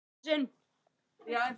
En þú ert ekki hér.